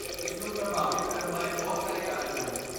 ਇਸ ਨੂੰ ਪ੍ਰਭਾਵਿਤ ਕਰਨ ਵਾਲੇ ਬਹੁਤ ਸਾਰੇ ਕਾਰਕ ਹਨ।